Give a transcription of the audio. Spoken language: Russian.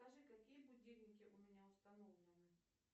скажи какие будильники у меня установлены